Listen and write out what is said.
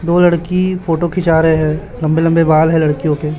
दो लड़की फोटो खींचा रहे हैं लंबे लंबे बाल है लड़कियों के--